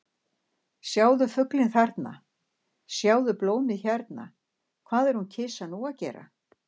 Sjáðu fuglinn þarna, sjáðu blómið hérna- hvað er hún kisa nú að gera?